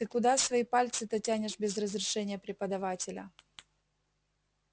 ты куда свои пальцы-то тянешь без разрешения преподавателя